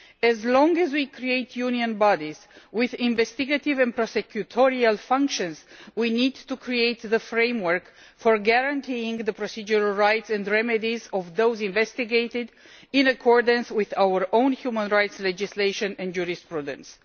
As long as we create Union bodies with investigative and prosecutorial functions, we need to create the framework for guaranteeing the procedural rights and remedies of those investigated, in accordance with our own human rights legislation and jurisprudence.